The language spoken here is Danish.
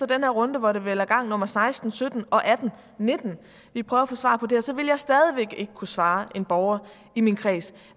den her runde hvor det vel er gang nummer seksten sytten atten og nitten at vi prøver at få svar på det her så vil jeg stadig væk ikke kunne svare en borger i min kreds